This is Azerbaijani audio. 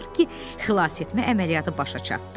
Axır ki, xilas etmə əməliyyatı başa çatdı.